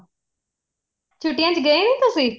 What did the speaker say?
ਛੁੱਟੀਆਂ ਚ ਗਏ ਨੀਂ ਤੁਸੀਂ